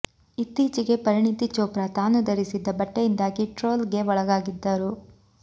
ಇತ್ತೀಚೆಗೆ ಪರಿಣಿತಿ ಚೋಪ್ರಾ ತಾನು ಧರಿಸಿದ್ದ ಬಟ್ಟೆಯಿಂದಾಗಿ ಟ್ರೋಲ್ ಗೆ ಒಳಗಾಗಿದ್ದರು